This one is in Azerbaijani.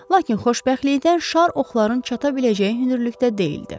Lakin xoşbəxtlikdən şar oxların çata biləcəyi hündürlükdə deyildi.